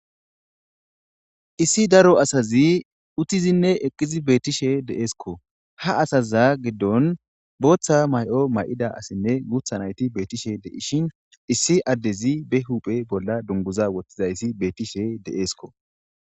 Issi daro asazi uttizinne eqqizi beettishe de'eeskko ha asaza giddon booththa may7o may'ida asinne guutha nayti beettishe deishin issi addezi be huphe bolla dunguza wottizayssi beettishe deeesko.